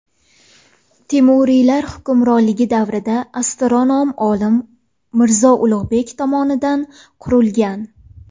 Temuriylar hukmronligi davrida astronom olim Mirzo Ulug‘bek tomonidan qurilgan.